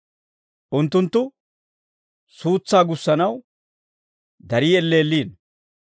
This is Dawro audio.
Unttunttu suutsaa gussanaw, darii elleelliino.